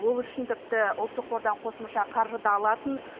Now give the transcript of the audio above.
ол үшін тіпті ұлттық қордан қосымша қаржы да алатын